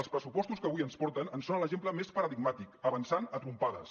els pressupostos que avui ens porten en són l’exemple més paradigmàtic avançant a trompades